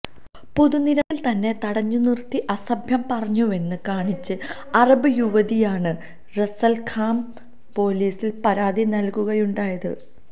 പൊതുനിരത്തില് തന്നെ തടഞ്ഞുനിര്ത്തി അസഭ്യം പറഞ്ഞുവെന്ന് കാണിച്ച് അറബ് യുവതിയാണ് റാസല്ഖൈമ പൊലീസില് പരാതി നല്കുകയുണ്ടായത്